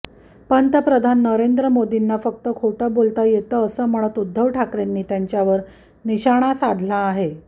पंतप्रधान नरेंद्र मोदींना फक्त खोटं बोलता येतं असं म्हणत उद्धव ठाकरेंनी त्यांच्यावर निशाणा साधला आहे